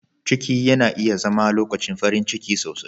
Ciki yana iya zama lokacin farin ciki sosai.